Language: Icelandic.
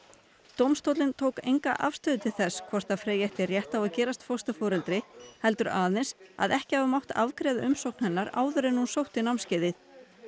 dómstóllinn tók enga afstöðu til þess hvort Freyja ætti rétt á að gerast fósturforeldri heldur aðeins að ekki hafi mátt afgreiða umsókn hennar áður en hún sótti námskeiðið